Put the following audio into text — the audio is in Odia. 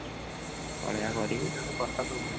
ପଳେଇୟା କରିକି